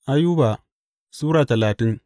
Ayuba Sura talatin